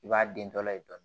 I b'a den tɔla ye dɔɔni